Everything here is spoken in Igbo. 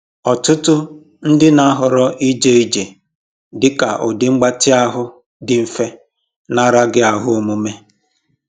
Ọtụtụ ndị na-ahọrọ ije ije dị ka ụdị mgbatị ahụ dị mfe na araghị ahụ omume